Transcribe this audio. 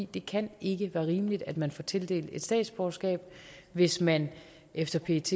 det kan ikke være rimeligt at man får tildelt et statsborgerskab hvis man efter pets